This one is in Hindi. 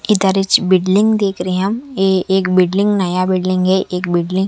इधारीच बिल्डिंग देख रहे है हम ए एक बिल्डिंग नया बिल्डिंग है एक बिल्डिंग --